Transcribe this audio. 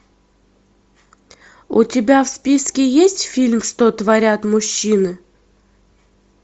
у тебя в списке есть фильм что творят мужчины